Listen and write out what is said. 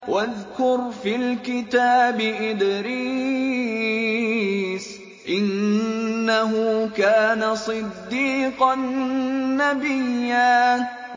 وَاذْكُرْ فِي الْكِتَابِ إِدْرِيسَ ۚ إِنَّهُ كَانَ صِدِّيقًا نَّبِيًّا